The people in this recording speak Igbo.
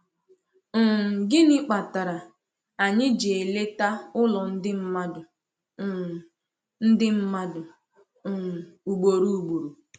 um Gịnị kpatara anyị ji eleta ụlọ ndị mmadụ um ndị mmadụ um ugboro ugboro?